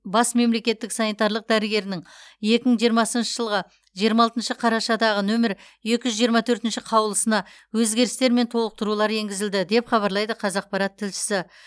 бас мемлекеттік санитарлық дәрігерінің екі мың жиырмасыншы жылғы жиырма алтыншы қарашадағы нөмірі екі жүз жиырма төртінші қаулысына өзгерістер мен толықтырулар енгізілді деп хабарлайды қазақпарат тілшісі